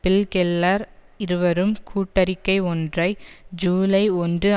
bill Keller இருவரும் கூட்டறிக்கை ஒன்றை ஜூலை ஒன்று